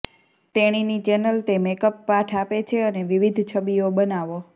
તેણીની ચેનલ તે મેકઅપ પાઠ આપે છે અને વિવિધ છબીઓ બનાવો